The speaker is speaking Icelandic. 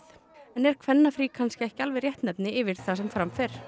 en er kannski ekki alveg réttnefni yfir það sem fram fer